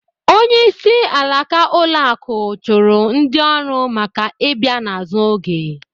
Onyeisi alaka ụlọ akụ chụrụ ndị ọrụ maka ị bịa n’azụ oge